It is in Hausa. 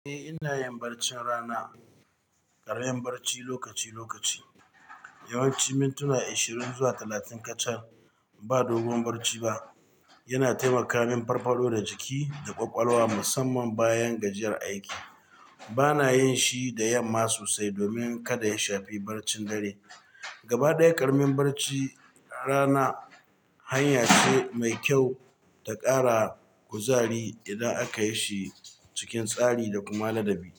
Eh, ina yin barcin rana, ƙarin barci lokaci-lokaci. Yawanci mintuna ashirin zuwa talatin kacal ba dogon barci ba. Yana taimaka min farfado da jiki da ƙwaƙwalwa musamman bayan gajiyar aiki. Bana yin shi da yamma sosai domin kada ya shafi barcin dare. Gaba ɗaya, ƙaramin barci rana hanya ce mai kyau ta ƙara kuzari idan aka yi shi cikin tsari da kuma ladabi.